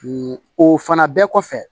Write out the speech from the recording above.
o fana bɛɛ kɔfɛ